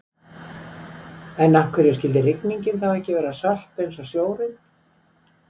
en af hverju skyldi rigningin þá ekki vera sölt eins og sjórinn